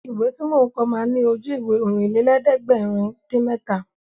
Ìwé tí mò ń kọ ma ní Ojú-Ìwé Ọ̀rìnlélẹ̀ẹ́dẹ́gbèrin-dín-mẹ́ta